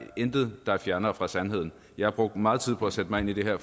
intet der er fjernere fra sandheden jeg har brugt meget tid på at sætte mig ind i det her